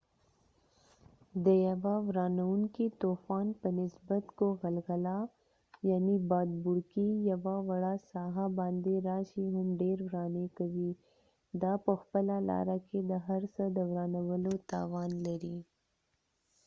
د یوه ورانوونکې طوفان په نسبت که غلغله بادبوړکۍ یوه وړه ساحه باندي راشي هم ډیر ورانی کوي. دا په خپله لاره کې د هر څه د ورانولو توان لري